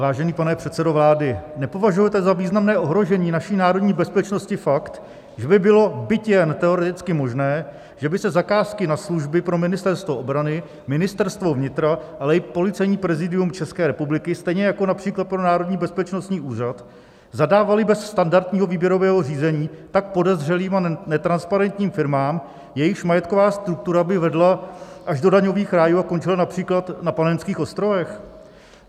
Vážený pane předsedo vlády, nepovažujete za významné ohrožení naší národní bezpečnosti fakt, že by bylo, byť jen teoreticky možné, že by se zakázky na služby pro Ministerstvo obrany, Ministerstvo vnitra, ale i Policejní prezidium České republiky, stejně jako například pro Národní bezpečnostní úřad, zadávaly bez standardního výběrového řízení tak podezřelým a netransparentním firmám, jejichž majetková struktura by vedla až do daňových rájů a končila například na Panenských ostrovech?